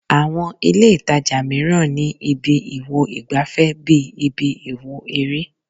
Àwọn ìlé-ìtajà mìíràn ni ibi ìwo ìgbàfẹ́ bí ibi ìwò eré